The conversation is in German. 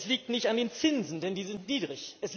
Es liegt nicht an den Zinsen, denn die sind niedrig.